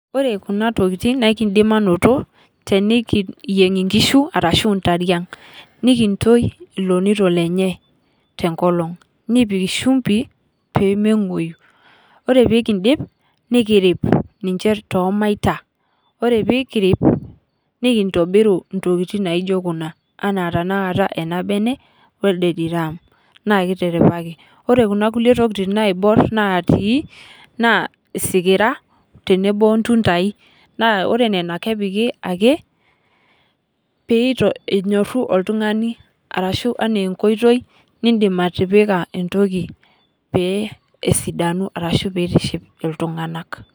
Ore kuna tokiting naa ekindim aanoto tenikiyieng inkishu orashu ntariang nikintoi ilonito lenche enkolong nikipik shumpi pee mengwoyu. ore pee kindip nikirip ninche toomaita ,ore pee kirip nikintobiru ntokiting naijo kuna ,anaa tenakata elde bene welde diram ,ore Kuna kulie tokiting naati naa isikira tenebo ontuntai naa kepiki ake pee enyoru oltungani orashu enaa enkoitoi nidim atipika entoki pee esidanu orashu pee eitiship iltunganak.